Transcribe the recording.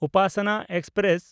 Upasana express